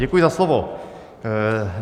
Děkuji za slovo.